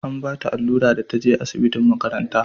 an bata allura da ta je asibitin makaranta